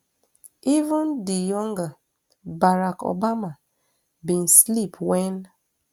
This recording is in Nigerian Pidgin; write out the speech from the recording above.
even di younger barack obama bin slip wen